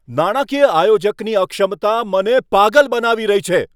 નાણાકીય આયોજકની અક્ષમતા મને પાગલ બનાવી રહી છે!